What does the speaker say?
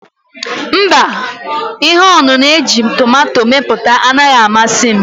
Mba, ihe ọṅụṅụ ejiri tomato mepụta anaghị amasị m.